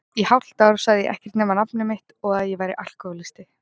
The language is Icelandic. Í hálft ár sagði ég ekkert nema nafnið mitt og að ég væri alkohólisti.